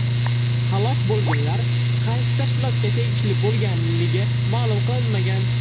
Halok bo‘lganlar qaysi tashkilotga tegishli bo‘lganligi ma’lum qilinmagan.